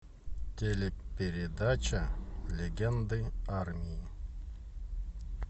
телепередача легенды армии